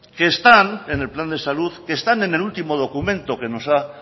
que están en el plan de salud que están en el último documento que nos ha